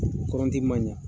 man ɲa.